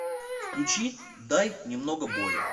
включи дай немного боли